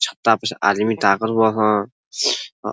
छत्ता पर से आदमी ताकत अ --